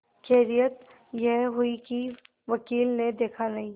खैरियत यह हुई कि वकील ने देखा नहीं